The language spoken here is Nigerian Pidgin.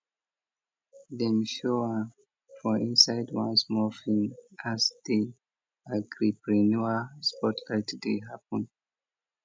dem show am for inside one small film as di agripreneur spotlight dey happen